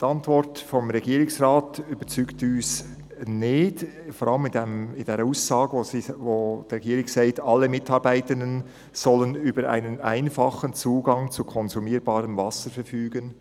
Die Antwort des Regierungsrates überzeugt uns nicht, vor allem nicht die Aussage, in der die Regierung sagt: «Alle Mitarbeitenden sollen über einen einfachen Zugang zu konsumierbarem Wasser verfügen.